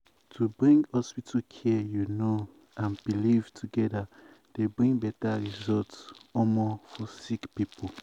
wait- to bring hospital care you know and belief togeda dey bring beta result um for um sick um poeple.